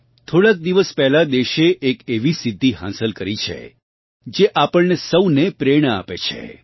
થોડાંક દિવસ પહેલાં દેશે એક એવી સિદ્ધી હાંસલ કરી છે જે આપણને સૌને પ્રેરણા આપે છે